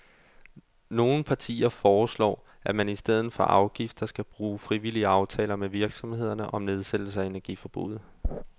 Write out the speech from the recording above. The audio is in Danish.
Nogle partier foreslår, at man i stedet for afgifter skal bruge frivillige aftaler med virksomhederne om nedsættelse af energiforbruget.